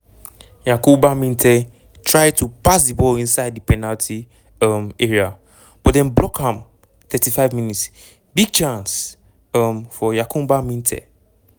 yankuba minteh trie to pass di ball inside di penalty um area but dem block am 35 mins- big chance um for yankuba minteh.